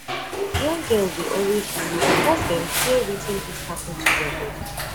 young girls dey always delay because dem fear wetin fit happen to their body